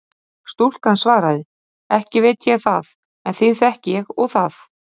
Stúlkan svaraði: Ekki veit ég það en þig þekki ég og það.